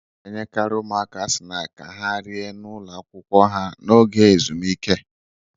A na-enyekarị ụmụaka snaakị ka ha rie n'ụlọ akwụkwọ ha n'oge ezumike